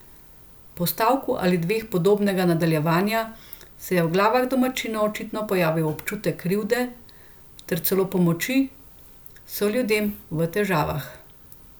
Po stavku ali dveh podobnega nadaljevanja se je v glavah domačinov očitno pojavil občutek krivde ter celo pomoči soljudem v težavah.